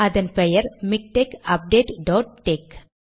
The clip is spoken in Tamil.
அதன் பெயர் மிக்டெக் அப்டேட் டாட் டெக்ஸ்